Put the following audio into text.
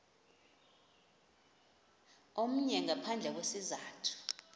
omnye ngaphandle kwesizathu